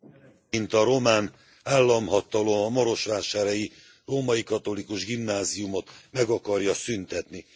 Elnök Úr, mint a román államhatalom a marosvásárhelyi Római Katolikus Gimnáziumot meg akarja szüntetni.